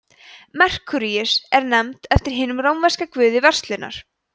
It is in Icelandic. merkúríus er nefnd eftir hinum rómverska guði verslunar